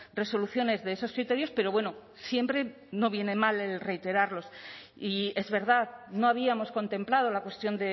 resoluciones de esos criterios pero bueno siempre no viene mal el reiterarlos y es verdad no habíamos contemplado la cuestión